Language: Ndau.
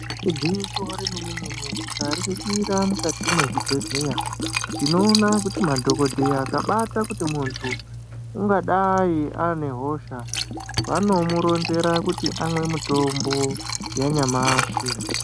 Igwinyiso remene-mene tikaringira mukati mwezvibhedhleya tinoona kuti madhogodheya akabata kuti muntu ungadai ane hosha, vanomuronzera kuti amwe mutombo yanyamashi.